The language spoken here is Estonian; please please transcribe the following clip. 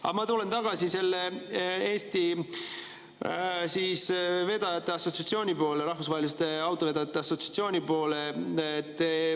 Aga ma tulen tagasi Eesti Rahvusvaheliste Autovedajate Assotsiatsiooni juurde.